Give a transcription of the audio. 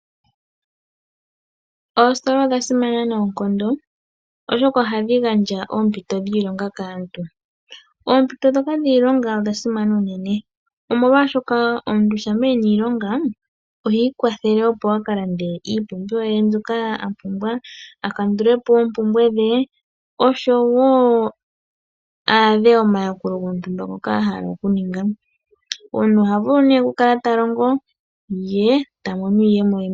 Oositola odha simana noonkondo, oshoka ohadhi gandja oompito dhiilonga kaantu. Oompito ndhoka dhiilonga odha simana unene, molwashoka omuntu shampa e na iilonga oha ikwathele, opo a ka lande iipumbiwa mbyoka a pumbwa, a kandule po oompumbwe dhe oshowo a adhe omayakulo gontumba ngoka a hala okuninga. Omuntu oha vulu nduno okukala ta longo ye ta mono iiyemo ye.